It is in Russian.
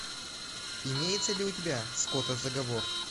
имеется ли у тебя скотозаговор